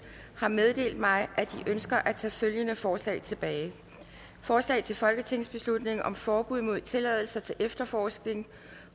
har meddelt mig at de ønsker at tage følgende forslag tilbage forslag til folketingsbeslutning om forbud mod tilladelser til efterforskning